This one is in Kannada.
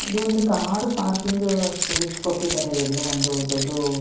ಇದು ಒಂದು ಕಾರ್ ಪಾರ್ಕಿಂಗ್ ಸ್ಪೇಸ್ ಕೊಟ್ಟಿದ್ದಾರೆ ಎಲ್ಲೋ ಒಂದು ದೊಡ್ಡ್ --